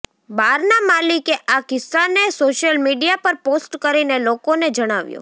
બારના માલિકે આ કિસ્સાને સોશિયલ મીડિયા પર પોસ્ટ કરીને લોકોને જણાવ્યો